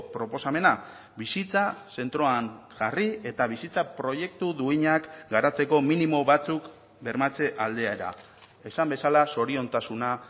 proposamena bizitza zentroan jarri eta bizitza proiektu duinak garatzeko minimo batzuk bermatze aldera esan bezala zoriontasuna